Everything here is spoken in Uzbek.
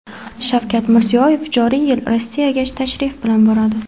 Shavkat Mirziyoyev joriy yil Rossiyaga tashrif bilan boradi.